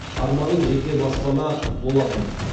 арманым жеке баспана болатын